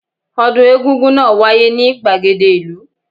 Ọdún egún-gún náà wáyé ní gbàgede ìlú